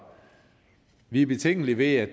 vi er betænkelige ved at